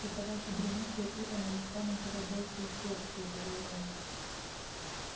эта ваша гремучая ива нанесла нам куда больший ущерб выпалил рон